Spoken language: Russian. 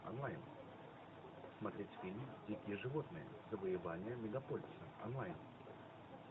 онлайн смотреть фильм дикие животные завоевание мегаполиса онлайн